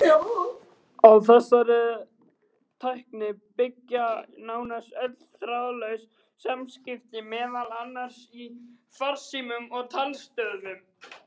Á þessari tækni byggja nánast öll þráðlaus samskipti, meðal annars í farsímum og talstöðvum.